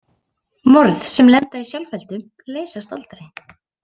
Morð sem lenda í sjálfheldu leysast aldrei.